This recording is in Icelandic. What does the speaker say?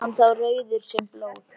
Var hann þá rauður sem blóð.